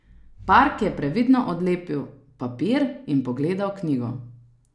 Park je previdno odlepil papir in pogledal knjigo.